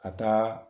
Ka taa